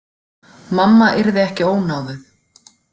Mamma yrði ekki ónáðuð.